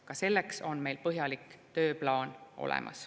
Ka selleks on meil põhjalik tööplaan olemas.